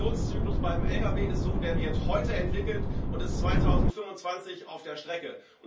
Der Produktionszyklus beim Lkw ist so Der wird heute entwickelt und ist 2025 auf der Strecke.